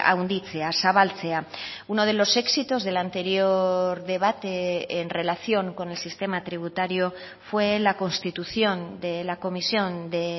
handitzea zabaltzea uno de los éxitos del anterior debate en relación con el sistema tributario fue la constitución de la comisión de